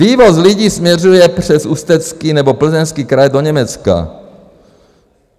Vývoz lidí směřuje přes Ústecký nebo Plzeňský kraj do Německa.